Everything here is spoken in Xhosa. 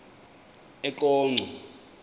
eqonco